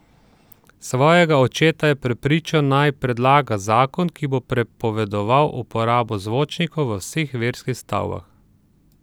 Svojega očeta je prepričal, naj predlaga zakon, ki bo prepovedal uporabo zvočnikov v vseh verskih stavbah.